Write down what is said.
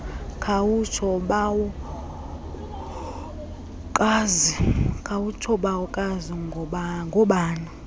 khawutsho bawokazi ngoobani